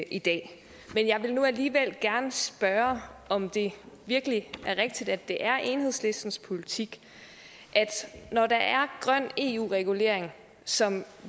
i dag men jeg vil nu alligevel gerne spørge om det virkelig er rigtigt at det er enhedslistens politik når der er grøn eu regulering som